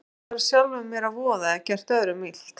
Ég gat farið sjálfum mér að voða eða gert öðrum illt.